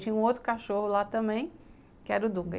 E tinha um outro cachorro lá também, que era o Dunga.